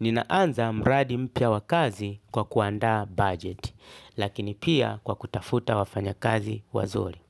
Ninaanza mradi mpya wa kazi kwa kuanda budget, lakini pia kwa kutafuta wafanya kazi wazuri.